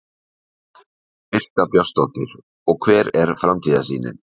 Birta Björnsdóttir: Og hver er framtíðarsýnin?